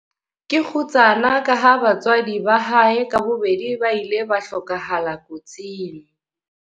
Ke kgutsana ka ha batswadi ba hae ka bobedi ba ile ba hlokahala kotsing.